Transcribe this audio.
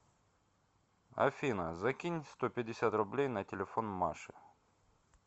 афина закинь сто пятьдесят рублей на телефон маше